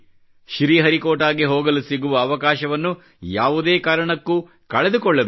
ಶ್ರೀಹರಿಕೋಟಾಗೆ ಹೋಗಲು ಸಿಗುವ ಅವಕಾಶವನ್ನು ಯಾವುದೇ ಕಾರಣಕ್ಕೂ ಕಳೆದುಕೊಳ್ಳಬೇಡಿ